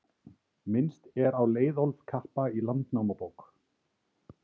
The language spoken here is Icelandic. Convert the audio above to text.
minnst er á leiðólf kappa í landnámabók